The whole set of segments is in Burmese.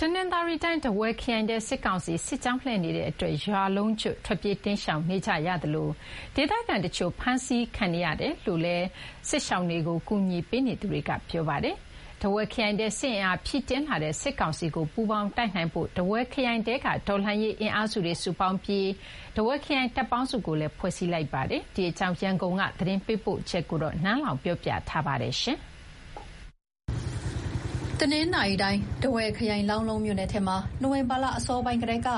တနင်္သာရီတိုင်း၊ ထားဝယ်ခရိုင်ထဲ စစ်ကောင်စီစစ်ကြောင်းလှည့်နေတဲ့အတွက် ရွာလုံးကျွတ်ထွက်ပြေးတိမ်းရှောင်နေကြရသလို ဒေသခံတချို့ ဖမ်းဆီးထိန်းသိမ်းခံနေရတယ်လို့ ဒေသခံတွေနဲ့ စစ်ရှောင်တွေကို ကူညီပေးနေသူတွေက ပြောပါတယ်။ ထားဝယ်ခရိုင်ထဲ စစ်အင်အားဖြည့်တင်းလာတဲ့ စစ်ကောင်စီကို ပူးပေါင်းတိုက်နိုင်ဖို့ ထားဝယ်ခရိုင်ထဲက တော်လှန်ရေးအင်အားစုတွေ စုပေါင်းပြီး ထားဝယ်ခရိုင် တပ်ပေါင်းစုကိုလည်း ဖွဲ့စည်းထားပါတယ်။ ဒီအကြောင်း ရန်ကုန်ဖက်က သတင်းပေးပို့ထားတာကို နန်းလောင်ဝ်ပြောပြမှာပါ။ တနင်္သာရီတိုင်း၊ ထားဝယ်ခရိုင်၊ လောင်းလုံးမြို့နယ်ထဲမှာ နိုဝင်ဘာလ အစောပိုင်းကတည်းက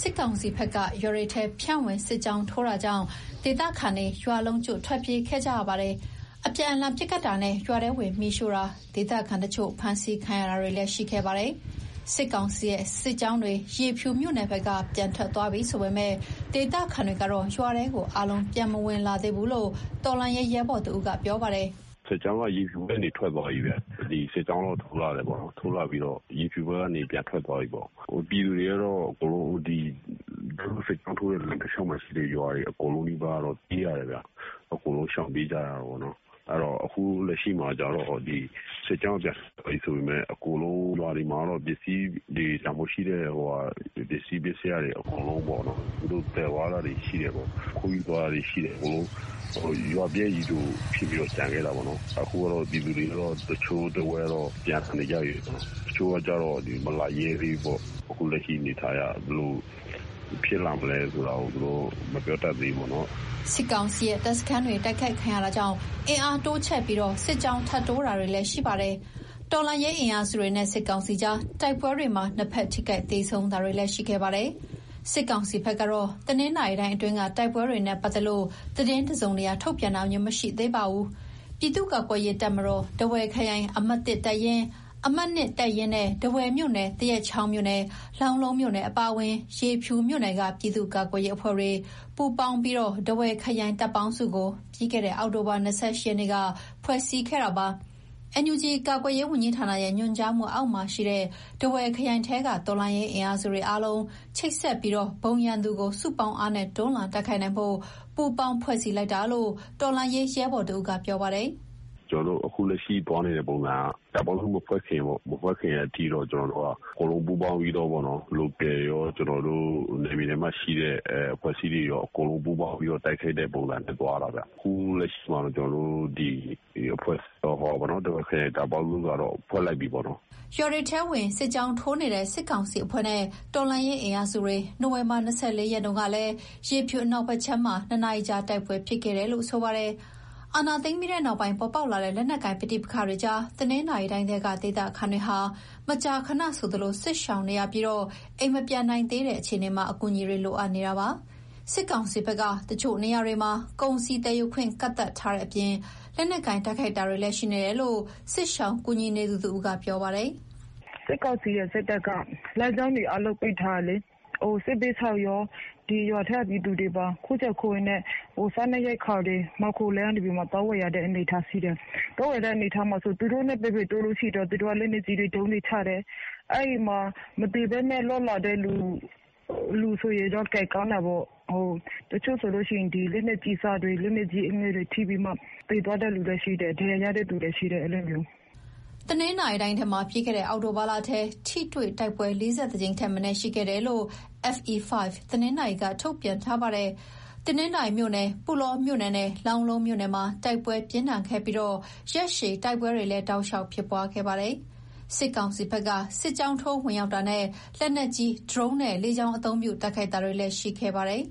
စစ်ကောင်စီဘက်က ရွာတွေထဲဖြန့်ဝင် စစ်ကြောင်းထိုးတာကြောင့် ဒေသခံတွေ ရွာလုံးကျွတ်ထွက်ပြေးခဲ့ကြတာပါ။ အပြန်အလှန်ပစ်ခတ်တာနဲ့ ရွာထဲဝင်မီးရှို့တာ၊ ဒေသခံတချို့ ဖမ်းဆီးခံရတာတွေလည်း ရှိခဲ့ပါတယ်။ စစ်ကောင်စီရဲ့ စစ်ကြောင်းတွေ ရေဖြူမြို့နယ်ဘက်က ပြန်ထွက်သွားပြီဆိုပေမယ့် ဒေသခံတွေကတော့ ရွာထဲကို အားလုံးပြန်မဝင်လာသေးဘူးလို့ တော်လှန်ရေးရဲဘော်တဦးက ပြောပါတယ်။ "စစ်ကြောင်းက ရေဖြူဘက်ကနေ ထွက်သွားပြီ။ စစ်ကြောင်းထိုးလာပြီး ရေဖြူဘက်ကနေ ပြန်ထွက်သွားတာ။ ပြည်သူတွေကတော့ သူတို့စစ်ကြောင်းထိုးတဲ့ လမ်းတလျှောက်မှာရှိတဲ့ ရွာတွေအကုန်လုံးနီးပါး ရှောင်ပြေးကြတယ်။ အခုလက်ရှိမှာက စစ်ကြောင်းပြန်ထွက်သွားပြီ ဆိုပေမယ့် ရွာတွေမှာတော့ ပစ္စည်းတွေ၊ တန်ဖိုးရှိတဲ့ ပစ္စည်းပစ္စယတွေ သူတို့သယ်သွားတယ်။ ခိုးယူသွားတာရှိတယ်။ အကုန်လုံး ရွာပျက်ကြီးလိုဖြစ်ပြီး ကျန်ခဲ့တာပေါ့။ ပြည်သူတချို့ တဝက်ကတော့ ပြန်လာနေကြပြီ။ တချို့ကလည်း မလာရဲသေးဘူး။ အခုလက်ရှိ အနေအထားအရ ဘယ်လိုဖြစ်လာမယ်ဆိုတာ သူတို့ မပြောတတ်သေးဘူးပေါ့။" စစ်ကောင်စီရဲ့ တပ်စခန်းတွေ တိုက်ခိုက်ခံရတာကြောင့် အင်အားတိုးချဲ့ပြီး စစ်ကြောင်းထပ်တိုးတာတွေလည်း ရှိပါတယ်။ တော်လှန်ရေးအင်အားစုတွေနဲ့ စစ်ကောင်စီကြား တိုက်ပွဲတွေမှာ နှစ်ဖက်ထိခိုက်သေဆုံးတာတွေလည်း ရှိခဲ့ပါတယ်။ စစ်ကောင်စီဘက်ကတော့ တနင်္သာရီတိုင်းအတွင်းက တိုက်ပွဲတွေနဲ့ ပတ်သက်လို့ သတင်းတစုံတရာ ထုတ်ပြန်တာမျိုး မရှိသေးပါဘူး။ ပြည်သူ့ကာကွယ်ရေးတပ်မတော်၊ ထားဝယ်ခရိုင် အမှတ် တပ်ရင်း၊ အမှတ် တပ်ရင်းနဲ့ ထားဝယ်မြို့နယ်၊ သရက်ချောင်းမြို့နယ်၊ လောင်းလုံးမြို့နယ် အပါအဝင် ရေဖြူမြို့နယ်က ပြည်သူ့ကာကွယ်ရေးအဖွဲ့တွေ ပူးပေါင်းပြီး ထားဝယ်ခရိုင်တပ်ပေါင်းစုကို ပြီးခဲ့တဲ့ အောက်တိုဘာလ ၂၈ ရက်နေ့က ဖွဲ့စည်းခဲ့ပါတယ်။ NUG ကာကွယ်ရေးဝန်ကြီးဌာနရဲ့ ညွှန်ကြားမှုအောက်မှာရှိတဲ့ ထားဝယ်ခရိုင်ထဲက တော်လှန်ရေးအင်အားစုတွေ အားလုံးချိတ်ဆက်ပြီး၊ ဘုံရန်သူကို စုပေါင်းအားနဲ့ တွန်းလှန်တိုက်ခိုက်နိုင်ဖို့ ပူးပေါင်းဖွဲ့စည်းလိုက်တာလို့ တော်လှန်ရေးရဲဘော်တဦးက ပြောပါတယ်။ "ကျနော်တို့ အခုလက်ရှိ သွားနေတဲ့ပုံစံက တပ်ပေါင်းစု မဖွဲ့ခင်အထိတော့ အကုန်လုံးပူးပေါင်းပြီးတော့ Local ရော၊ နယ်မြေထဲမှာရှိတဲ့ အဖွဲ့အစည်းတွေရော အကုန်လုံးပူးပေါင်းပြီးတော့ တိုက်ခိုက်တဲ့ပုံစံနဲ့ သွားတာဗျ။ အခုလက်ရှိမှာတော့ ထားဝယ်ခရိုင် တပ်ပေါင်းစုက ဖွဲ့လိုက်ပြီပေါ့။" ရွာတွေထဲဝင် စစ်ကြောင်းထိုးနေတဲ့ စစ်ကောင်စီအဖွဲ့နဲ့ တော်လှန်ရေးအင်အားစုတွေ နိုဝင်ဘာလ ၂၄ ရက်၊ မနေ့တုန်းကလည်း ရေဖြူအနောက်ဘက်ခြမ်းမှာ ၂ နာရီကြာ တိုက်ပွဲဖြစ်ခဲ့တယ်လို့ ပြောပါတယ်။ အာဏာသိမ်းပြီးနောက်ပိုင်း ပေါ်ပေါက်လာတဲ့ လက်နက်ကိုင်ပဋိပက္ခတွေကြား တနင်္သာရီတိုင်းထဲက ဒေသခံတွေဟာ မကြာခဏဆိုသလို စစ်ရှောင်နေရပြီး၊ အိမ်မပြန်နိုင်သေးတဲ့ အခြေအနေမှာ အကူအညီတွေ လိုအပ်နေတာပါ။ စစ်ကောင်စီဘက်က တချို့နေရာတွေမှာ ကုန်စည်သယ်ယူခွင့် ကန့်သတ်ထားတဲ့အပြင် လက်နက်ကိုင်တိုက်ခိုက်တာလည်း ရှိနေတယ်လို့ စစ်ရှောင်ကူညီနေသူတဦးက ပြောပါတယ်။ "စစ်ကောင်စီရဲ့စစ်တပ်က လမ်းကြောင်းတွေအားလုံး ပိတ်ထားတယ်လေ။ စစ်ဘေးရှောင်ရော၊ ရွာထဲက ပြည်သူတွေပါ ခိုးကြောင်ခိုးဝှက်နဲ့ စားနပ်ရိက္ခာတွေ မှောင်ခိုလမ်းကနေ သွားဝယ်ရတဲ့ အနေအထားရှိတယ်။ သွားဝယ်တဲ့လမ်းကြောင်းမှာ သူတို့နဲ့ ပက်ပင်းတိုးရင်တော့ လက်နက်ကြီးပစ်တယ်။ အဲဒီမှာ မသေဘဲနဲ့ လွတ်လာတဲ့လူဆိုရင်တော့ ကံကောင်းတာပေါ့။ တချို့ဆိုရင် လက်နက်ကြီးအစတွေ လက်နက်အငယ်တွေ ထိပြီးတော့မှ သေသွားတဲ့ သူလည်းရှိတယ်။ ဒဏ်ရာရတဲ့ သူလည်းရှိတယ်။" တနင်္သာရီတိုင်းထဲမှာ ပြီးခဲ့တဲ့ အောက်တိုဘာလထဲ ထိတွေ့တိုက်ပွဲ ၄၁ ကြိမ်ထက်မနည်း ရှိခဲ့တယ်လို့ FE5 တနင်္သာရီက ထုတ်ပြန်ထားပါတယ်။ တနင်္သာရီမြို့နယ်၊ ပုလောမြို့နယ်နဲ့ လောင်းလုံးမြို့နယ်မှာ တိုက်ပွဲပြင်းထန်ခဲ့ပြီး ရက်ရှည်တိုက်ပွဲတွေလည်း တောက်လျှောက်ဖြစ်ပွားခဲ့ပါတယ်။ စစ်ကောင်စီဘက်က စစ်ကြောင်းထိုးဝင်ရောက်တာနဲ့ လက်နက်ကြီး၊ ဒရုန်းနဲ့ လေကြောင်းအသုံးပြု တိုက်ခိုက်တာတွေလည်း ရှိခဲ့ပါတယ်။